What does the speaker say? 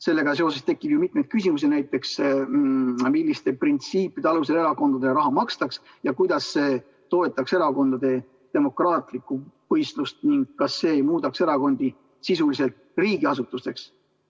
Sellega seoses tekib ju mitu küsimust, näiteks milliste printsiipide alusel erakondadele raha makstaks ja kuidas see toetaks erakondade demokraatlikku võistlust ning kas see ei muudaks erakondi sisuliselt riigiasutusteks.